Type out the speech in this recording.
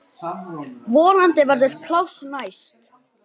Vonandi verður pláss næst.